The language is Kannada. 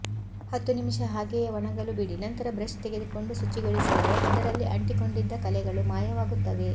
ಹತ್ತು ನಿಮಿಷ ಹಾಗೆಯೇ ವಣಗಲು ಬಿಡಿ ನಂತರ ಬ್ರಶ್ ತೆಗೆದುಕೊಂಡು ಶುಚಿಗೊಳಿಸಿದರೆ ಅದರಲ್ಲಿ ಅಂಟಿಕೊಂಡಿದ್ದ ಕಲೆಗಳು ಮಾಯವಾಗುತ್ತವೆ